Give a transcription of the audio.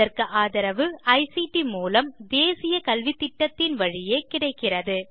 இதற்கு ஆதரவு ஐசிடி மூலம் தேசிய கல்வித்திட்டத்தின் வழியே கிடைக்கிறது